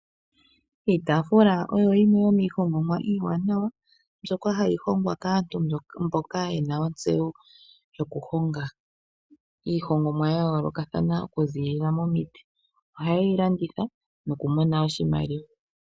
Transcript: Iitaafula oyo yimwe yomiihongomwa iiwanawa mbyoka hayi hongwa kaantu mboka yena otseyo yoku honga iihongomwa ya yoolokathana oku ziilila momiti. Ohayeyi landitha noku mona oshimaliwa.